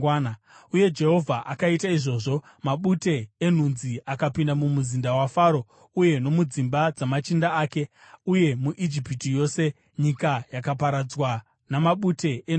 Uye Jehovha akaita izvozvo. Mabute enhunzi akapinda mumuzinda maFaro uye nomudzimba dzamachinda ake, uye muIjipiti yose, nyika yakaparadzwa namabute enhunzi.